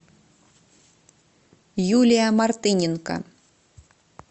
юлия мартыненко